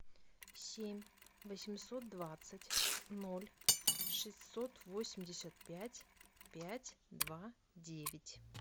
семь восемьсот двадцать ноль шестьсот восемьдесят пять пять два девять